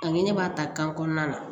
Ani ne b'a ta kan kɔnɔna na